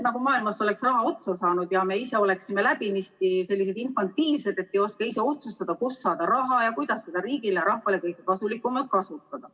Nagu oleks maailmast raha otsa saanud ja me ise oleksime läbinisti sellised infantiilsed, et ei oska ise otsustada, kust saada raha ja kuidas seda riigi ja rahva heaks kõige kasulikumalt kasutada.